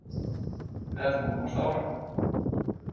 Við ætlum að komast áfram.